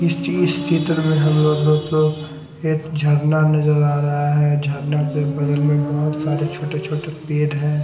इस ची इस चित्र में हम लोगों को एक झरना नजर आ रहा है झरना के बगल में बहुत सारे छोटे छोटे पेड़ है।